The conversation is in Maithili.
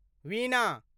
वीणा